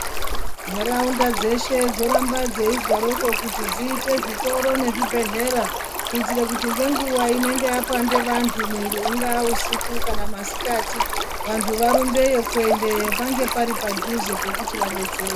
Nharaunda dzeshe dzoramba dzeizwaroko kuti dziite zvitoro nezvibhodhlera, kuitire kuti ngenguva inenge yapande vantu mwiri, ungaa usiku kana masikati, vantu varumbeyo kuendeyo, pange pari padhuze pekuti vadetsereke.